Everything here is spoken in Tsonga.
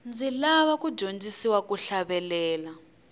ndzi lava ku dyondzisiwa ku hlavelela